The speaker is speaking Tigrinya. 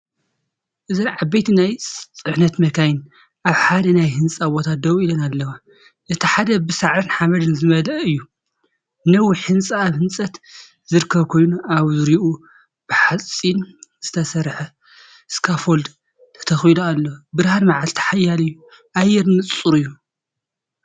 እዚ ዓበይቲ ናይ ፅዕነት መካይን ኣብ ሓደ ናይ ህንጻ ቦታ ደው ኢለን ኣለዋ፣ እቲ ሓደ ብሳዕርን ሓመድን ዝመልአ እዩ። ነዊሕ ህንጻ ኣብ ህንጸት ዝርከብ ኮይኑ፡ኣብ ዙርያኡ ብሓጺን ዝተሰርሐ ስካፎልድ ተተኺሉ ኣሎ። ብርሃን መዓልቲ ሓያል እዩ፣ ኣየር ንጹር እዩ።